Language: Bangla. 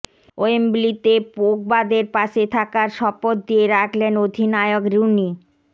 ওয়েম্বলিতে পোগবাদের পাশে থাকার শপথ দিয়ে রাখলেন অধিনায়ক রুনি